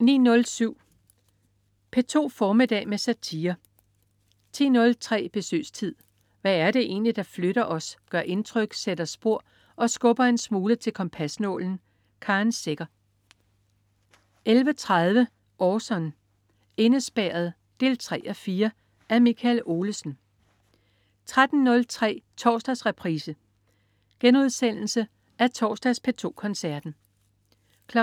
09.07 P2 formiddag med satire 10.03 Besøgstid. Hvad er det egentlig, der flytter os, gør indtryk, sætter spor og skubber en smule til kompasnålen? Karen Secher 11.30 Orson: Indespærret 3:4. Af Michael Olesen 13.03 Torsdagsreprise. Genudsendelse af torsdags P2 Koncerten 19.00